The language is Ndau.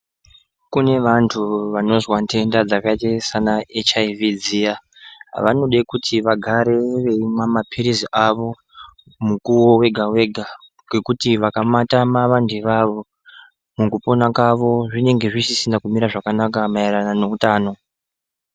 Kune vantu vanozwa nhenda dzakaite saana HIV dziya vanode kiti vagare veimwa maphilizi avo mukuwo wega-wega ngekuti vakamatama vantu ivavo, mukupina kwavo zvinenge zvisisna kumira zvakanaka maererana ngeutano.